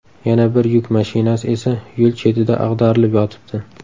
Yana bir yuk mashinasi esa yo‘l chetida ag‘darilib yotibdi.